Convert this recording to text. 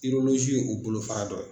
ye o bolofara dɔ ye.